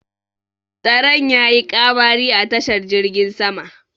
Tsaron ya yi ƙamari a tashar jirgin sama